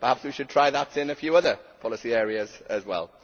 Perhaps we should try that in a few other policy areas as well.